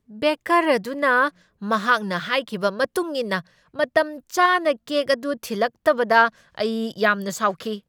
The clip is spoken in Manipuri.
ꯕꯦꯀꯔ ꯑꯗꯨꯅ ꯃꯍꯥꯛꯅ ꯍꯥꯏꯈꯤꯕ ꯃꯇꯨꯡ ꯏꯟꯅ ꯃꯇꯝꯆꯥꯅ ꯀꯦꯛ ꯑꯗꯨ ꯊꯤꯜꯂꯛꯇꯕꯗ ꯑꯩ ꯌꯥꯝꯅ ꯁꯥꯎꯈꯤ ꯫